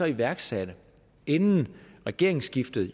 iværksatte inden regeringsskiftet